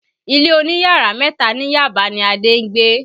Ilé oní yàrá mẹ́ta ni Yaba ni Adé ń gbé